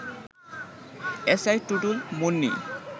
S I Tutul, Munni